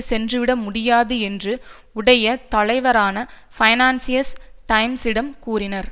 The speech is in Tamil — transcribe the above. சென்றுவிட முடியாது என்று உடைய தலைவரான பைனான்சியஸ் டைம்ஸிடம் கூறினார்